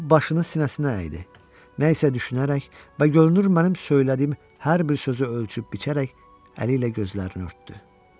O başını sinəsinə əydi, nə isə düşünərək və görünür mənim söylədiyim hər bir sözü ölçüb biçərək əli ilə gözlərini örtdü.